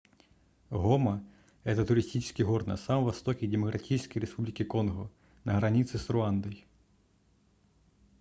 гома это туристический город на самом востоке демократической республики конго на границе с руандой